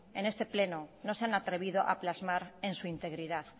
en este pleno no se han atrevido a plasmar en su integridad